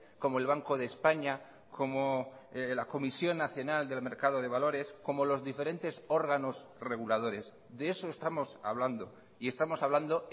como el banco de españa como la comisión nacional del mercado de valores como los diferentes órganos reguladores de eso estamos hablando y estamos hablando